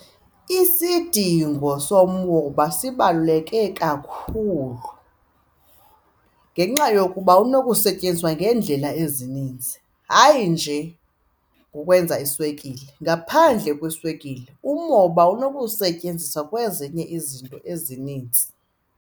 Isidingo somoba sibaluleke kakhulu ngenxa yokuba unokusetyenziswa ngeendlela ezininzi, hayi nje ngokwenza iswekile. Ngaphandle kweswekile umoba unokusetyenziswa kwezinye izinto ezininzi.